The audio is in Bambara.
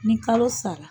Ni kalo sara